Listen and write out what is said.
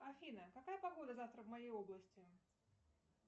афина какая погода завтра в моей области